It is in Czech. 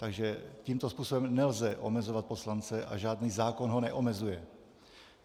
Takže tímto způsobem nelze omezovat poslance a žádný zákon ho neomezuje.